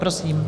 Prosím.